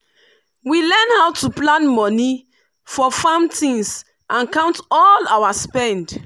we learn how to plan money for farm things and count all our spend